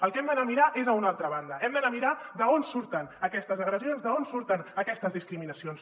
el que hem d’anar a mirar és a una altra banda hem d’anar a mirar d’on surten aquestes agressions d’on surten aquestes discriminacions